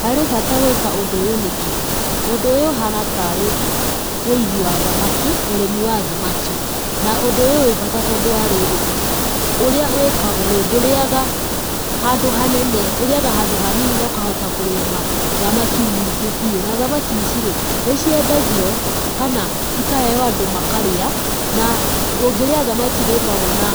Harĩ bata gwĩka ũndũ ũyũ nĩkĩ? Ũndũ ũyũ ũhana tarĩ ũigi wa thamaki, ũrĩmi wa thamaki, na ũndũ ũyũ wĩ bata tondũ wa rĩrĩ, ũrĩa wĩkagwo rĩ, ndũrĩaga handũ hanene, ĩrĩaga handũ hanini na ũkahota kũrĩma thamaki nyingĩ biu. Na thamaki ici rĩ, nĩ ciendagio kana ikaheo andu makarĩa, na ũngĩrĩa thamaki nĩ ĩkoragwo na